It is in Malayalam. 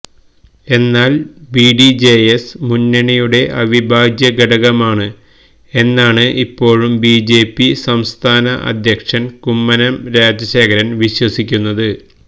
എന്നാല് ബിഡിജെഎസ് മുന്നണിയുടെ അവിഭാജ്യ ഘടകമാണ് എന്നാണ് ഇപ്പൊഴും ബിജെപി സംസ്ഥാന അദ്ധ്യക്ഷന് കുമ്മനം രാജശേഖരന് വിശ്വസിക്കുന്നത്